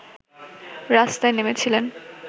রাস্তায় নেমেছিলেন